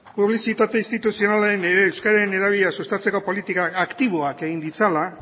publizitate instituzionalean ere euskeraren erabilera sustatzeko politika aktiboak egin ditzala